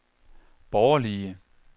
borgerlige